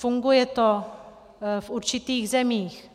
Funguje to v určitých zemích.